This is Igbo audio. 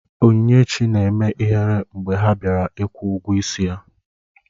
Onyinyechi na-eme ihere mgbe ha bịara kwụọ ụgwọ ịsị ya